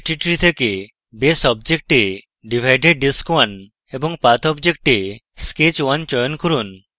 geometry tree থেকে base object এ divided disk _ 1 এবং path object এ sketch _ 1 চয়ন করুন